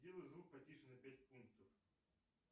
сделай звук потише на пять пунктов